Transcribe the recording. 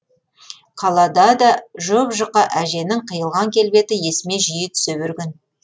қалада да жұп жұқа әженің қиылған келбеті есіме жиі түсе берген